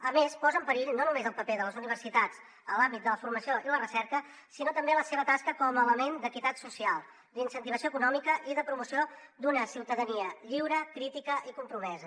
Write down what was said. a més posa en perill no només el paper de les universitats en l’àmbit de la formació i la recerca sinó també la seva tasca com a element d’equitat social d’incentivació econòmica i de promoció d’una ciutadania lliure crítica i compromesa